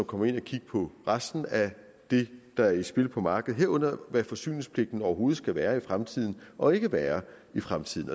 gå ind og kigge på resten af det der er i spil på markedet herunder hvad forsyningspligten overhovedet skal være i fremtiden og ikke være i fremtiden